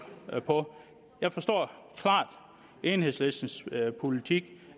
på jeg forstår klart enhedslistens politik